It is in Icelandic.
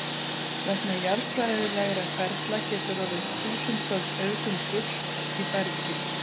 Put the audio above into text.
Vegna jarðfræðilegra ferla getur orðið þúsundföld auðgun gulls í bergi.